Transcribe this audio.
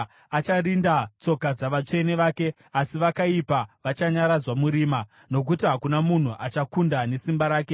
Acharinda tsoka dzavatsvene vake, asi vakaipa vachanyaradzwa murima. “Nokuti hakuna munhu achakunda nesimba rake.